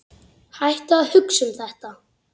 Hættu að hugsa um þetta.